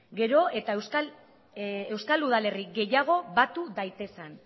gero eta euskal udalerri gehiago batu daitezen